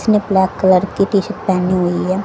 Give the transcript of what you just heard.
उसने black colour की T-shirt पहनी हुई है।